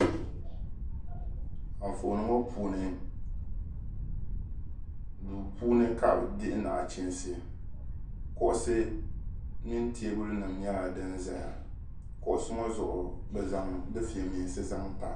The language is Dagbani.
Anfooni ŋɔ puuni duu puuni ka bɛ dihi nachiinsi. Kuɣisi mini teebulinima nyɛla din zaya. Kuɣisi ŋɔ zuɣu bɛ zaŋ difiɛmeensi n-zaŋ pa.